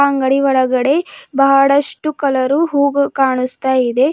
ಅಂಗಡಿ ಒಳಗಡೆ ಬಹಳಷ್ಟು ಕಲರು ಹೂಗಳು ಕಾಣುಸ್ತಾಯಿದೆ.